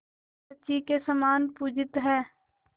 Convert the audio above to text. शची के समान पूजित हैं